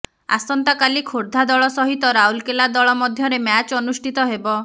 ଆସନ୍ତା କଲି ଖୋର୍ଦ୍ଧା ଦଳ ସହିତ ରାଉରକେଲା ଦଳ ମଧ୍ୟରେ ମ୍ୟାଚ ଅନୁଷ୍ଠିତ ହେବ